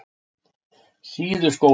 Síðuskóli